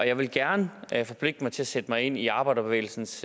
jeg vil gerne forpligte mig til at sætte mig ind i arbejderbevægelsens